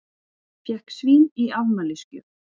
Fékk svín í afmælisgjöf